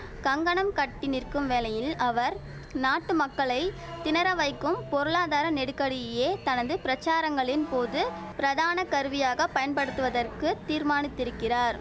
கங்கணம் கட்டி நிற்கும் வேளையில் அவர் நாட்டு மக்களை திணற வைக்கும் பொருளாதார நெடுக்கடியே தனது பிரசாரங்களின் போது பிரதான கருவியாக பயன்படுத்துவதற்குத் தீர்மானித்திருக்கிறார்